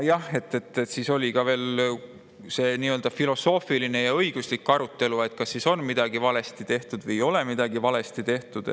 Siis oli veel filosoofiline ja õiguslik arutelu selle üle, kas siis on midagi valesti tehtud või ei ole midagi valesti tehtud.